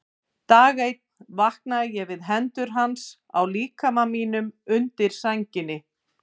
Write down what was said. Dag einn vaknaði ég við hendur hans á líkama mínum undir sænginni.